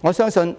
我相信絕